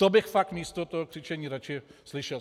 To bych fakt místo toho křičení radši slyšel.